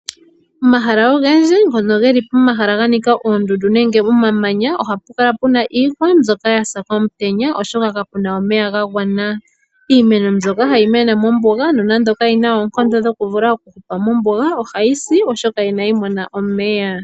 Omahala ogendji ngoka geli pomahala ga nika oondundu nenge omamanya ohapu kala pu na iihwa mbyoka ya sa komutenya, oshoka kapu na omeya ga gwana. Iimeno mbyoka hayi mene mombuga nonando kayi na oonkondo dhokuhupa mombuga ohayi si, oshoka inayi mona omeya.